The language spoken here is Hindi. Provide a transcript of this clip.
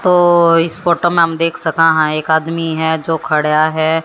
तो इस फोटो में हम देख सके हैं एक आदमी है जो खड़ा है।